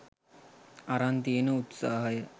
අරන් තියෙන උත්සහය